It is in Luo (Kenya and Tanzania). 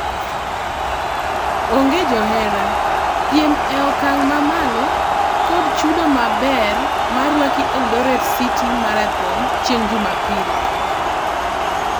Onge johera, piem ee okang mamalo, kod chudo maber marwaki Eldoret City Marathon chieng' jumapil